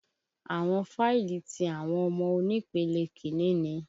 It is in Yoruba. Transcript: Àwọn fáìlì ti àwọn ọmọ onípele kìíni ni.